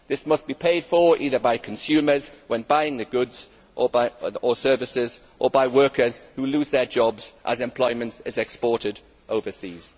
This must be paid for either by consumers when buying the goods or services or by workers who lose their jobs as employment is exported overseas.